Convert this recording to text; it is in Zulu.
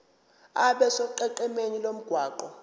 abe sonqenqemeni lomgwaqo